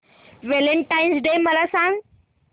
Valentine's Day मला सांग